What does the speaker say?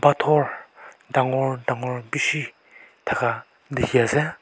phator dangor dangor bishi thaka dikhiase.